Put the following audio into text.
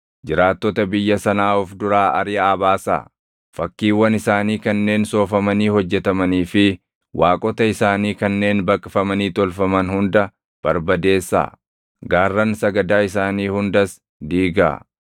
jiraattota biyya sanaa of duraa ariʼaa baasaa. Fakkiiwwan isaanii kanneen soofamanii hojjetamanii fi waaqota isaanii kanneen baqfamanii tolfaman hunda barbadeessaa; gaarran sagadaa isaanii hundas diigaa.